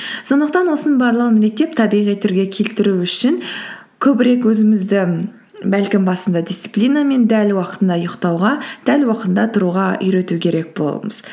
сондықтан осының барлығын реттеп табиғи түрге келтіру үшін көбірек өзімізді бәлкім басында дисциплинамен дәл уақытында ұйықтауға дәл уақытында тұруға үйрету керек боламыз